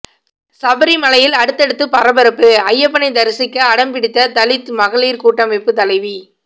சபரிமலையில் அடுத்தடுத்து பரபரப்பு ஐயப்பனை தரிசிக்க அடம் பிடித்த தலித் மகளிர் கூட்டமைப்பு தலைவி